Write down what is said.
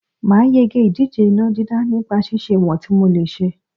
Màá yege ìdíje iná dídá nípa ṣíṣe ìwọ̀n tí mò lè ṣe